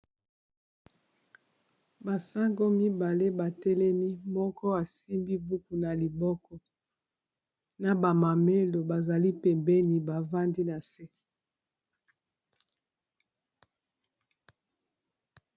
Ba sango mibale batelemi moko asimbi buku na liboko na b amamelo bazali pembeni bavandi na se.